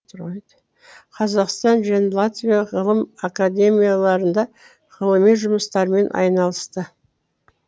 қазақстан және латвия ғылым академияларында ғылыми жұмыстармен айналысты